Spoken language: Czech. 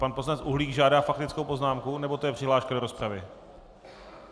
Pan poslanec Uhlík žádá faktickou poznámku, nebo to je přihláška do rozpravy?